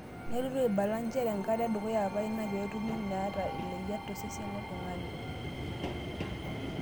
Neplotu aibala njere enkata edukuya apa ina peetumi nena leyiat tosesen lolntung'ani